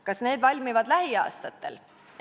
Kas need valmivad lähiaastatel?